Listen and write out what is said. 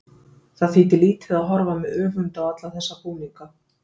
Það þýddi lítið að horfa með öfund á alla þessa búninga.